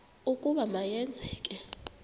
ukuba ma yenzeke